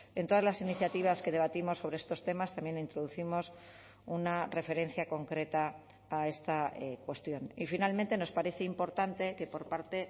en todas las iniciativas que debatimos sobre estos temas también introducimos una referencia concreta a esta cuestión y finalmente nos parece importante que por parte